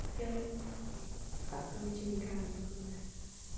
E a rotina em casa, como era?